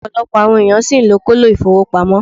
Opolopo awon eeyan si n lo kolo ifowopamo